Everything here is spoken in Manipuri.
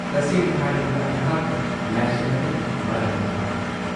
ꯇꯁꯦꯡꯅ ꯍꯥꯏꯔꯕꯗ ꯑꯩꯍꯥꯛꯅ ꯂꯥꯏꯁꯪ ꯑꯗꯨꯒꯤ ꯃꯔꯝꯗ ꯇꯥꯈ꯭ꯔꯦ꯫